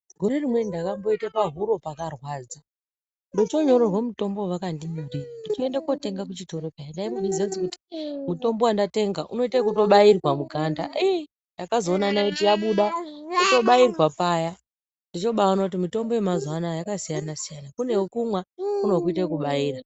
Gore rimweni ndakamboite pahuro pakarwadza. Ndochonyorerwa mutombo wavakandinyorera ndochoenda kotenga kuchitoro pheya ndaimbozviziya kuti mutombo wandatenga unoita ekubairwa muganda ii ndakazoona naiti yabuda ndochobairwa paya. Ndochobaona kuti mitombo yemazuwa anaya yasiyana-siyana. Kune wekumwa kune wekuita ekubaira.